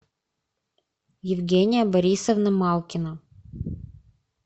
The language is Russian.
евгения борисовна малкина